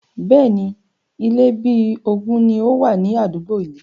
Bẹ́ẹ̀ni, Ilé bí ogún ni ó wà ní àdúgbò yii